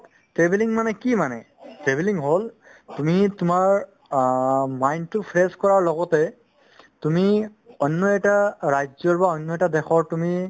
travelling মানে কি মানে travelling হ'ল তুমি তোমাৰ অ mine তো fresh কৰাৰ লগতে তুমি অন্য এটা ৰাজ্যৰ বা অন্য এটা দেশৰ তুমি